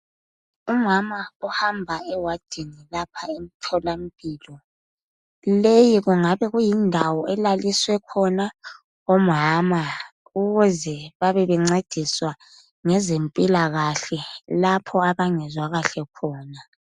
Umama uhamba ewadini lapha emtholampilo leyi kuyindawo elaliswe khona umama ukuze babe bencediswa ngezempilakahle lapho abangezwakahle khona.